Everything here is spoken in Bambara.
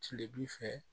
Tile b'i fɛ